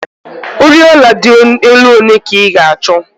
Oriọna dị elu ole ka ị ga-achọ?